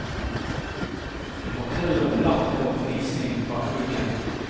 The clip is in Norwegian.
De forteller om latter og fnising bak ryggen.